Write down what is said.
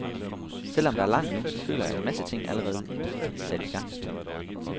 Selv om der er langt endnu, så føler jeg, at en masse ting allerede i sat i gang.